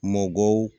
Mɔgɔw